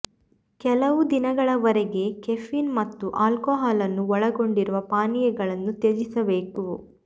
ಕೆಲವು ದಿನಗಳವರೆಗೆ ಕೆಫೀನ್ ಮತ್ತು ಆಲ್ಕೋಹಾಲ್ ಅನ್ನು ಒಳಗೊಂಡಿರುವ ಪಾನೀಯಗಳನ್ನು ತ್ಯಜಿಸಬೇಕು